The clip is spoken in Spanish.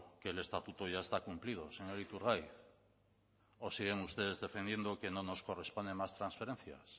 que el estatuto ya está cumplido señor iturgaiz o siguen ustedes defendiendo que no nos corresponden más transferencias